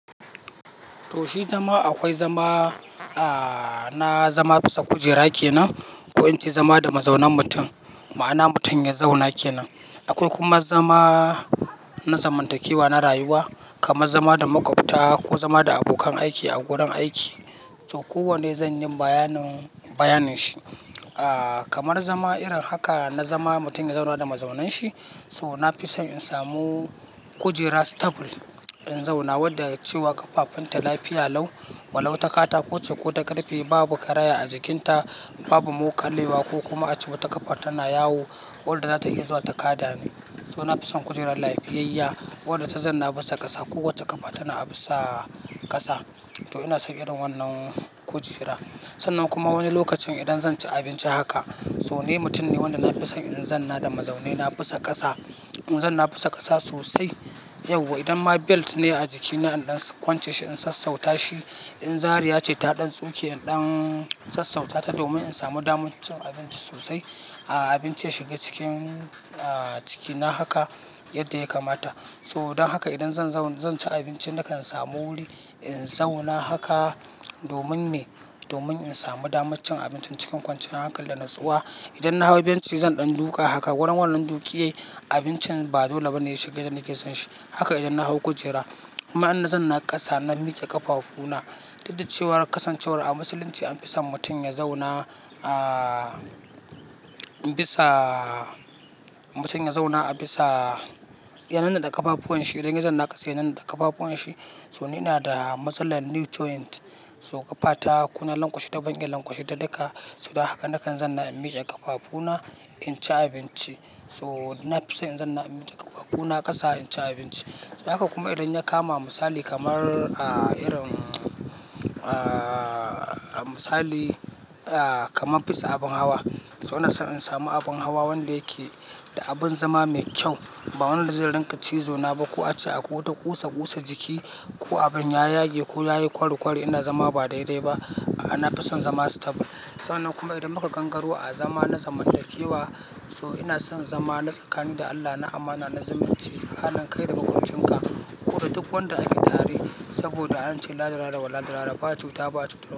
Toh shi zama akwai zama, ah, na zama bisa kujera kenan ko ince zama da mazaunan mutum, ma'ana mutum ya zauna kenan. Akwai kuma zama na zamantakewa na rayuwa kamar zama da maƙwabta ko zama da abokan aiki a wurin aiki. To kowanne zan yi bayanin, bayanin shi. Ah, kamar zama irin haka na zama mutum ya zauna da mazaunanshi. To na fi son in samu kujera stable in zauna wadda cewa ƙafafunta lafiya lau. Wa lau takata koce ko ta ƙarfe, babu karaya a jikinta, babu muƙa lewa ko kuma a ce wata ƙafa tana yawo. Wadda zatayi zuwa takada ni. To na fison kujerar lafiyayyya wadda ta zanna bisa ƙasa. Kowacce ƙafa tana a bisa ƙasa. To ina son irin wannan kujera. Sannan kuma wani lokacin idan zan ci abinci haka, so ni mutum ne wanda na fi son in zanna da mazaune na bisa ƙasa. In zanna bisa ƙasa sosai. Yau wa idan ma belt ne a jikina in ɗan kwance shi in sassauta shi. In zariya ce ta ɗan tsoke in ɗan sassauta ta domin in samu damar cin abinci sosai. Ah, abincin ya shiga cikin, ah, cikina haka yadda ya kamata. To dan haka idan zan zauna zan ci abinci nakan samu wuri in zauna haka domin me? Domin in samu damar cin abincin cikin kwanciyar hankal da natsuwa. Idan na hau benci zan ɗan duka haka. Wurin wannan duƙiyai abincin ba dole ba ne ya shiga yanda nake san shi. Haka idan na hau kujera. Amma in na zanna ƙasa na miƙe ƙafafuna, duda cewar kasancewar a musulunci an fi son mutum ya zauna, ah, bisa mutum ya zauna a bisa ya nannaɗe ƙafafuwan shi. Idan yazan na ƙasa ya nannaɗe ƙafafuwan shi. To ni ina da matsalar nee joint. So ƙafata kona lankwashe ta, ban iya lankwashe ta duka. So don haka nakan zanna in miƙe ƙafafuna in ci abinci. To na fi son in zanna in miƙe ƙafafuna ƙasa in ci abinci. Haka kuma idan ya kama misali kamar, ah, irin, ah, misali, ah, kamar fisa abin hawa. To ina son in samu abin hawa wanda yake da abin zama mai kyau. Ba wanda zai rinƙa cizo na ba ko a ce akwai wata ƙusa ƙusa jiki ko abin ya yage ko yayi kwari kwari ina zama ba daidai ba. A'a, na fi son zama stable. Sannan kuma idan muka gangaro a zama na zamantakewa, so ina son zama na tsakani da Allah, na amana, na zimunci tsakanin kai da makwabcinka. Koda duk wanda ake tare saboda an ce "La darara wa la darara ba cuta ba cuta."